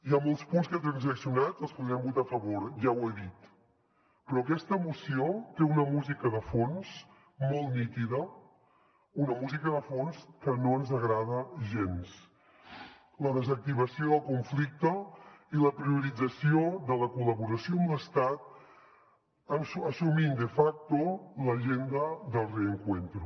hi ha molts punts que transaccionats els podrem votar a favor ja ho he dit però aquesta moció té una música de fons molt nítida una música de fons que no ens agrada gens la desactivació del conflicte i la priorització de la col·laboració amb l’estat assumint de facto l’agenda para el reencuentro